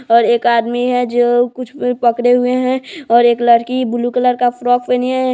--और एक आदमी है जो कुछ पकड़े हुए है और एक लड़की ब्लू कलर का फ्रॉक पहनी है।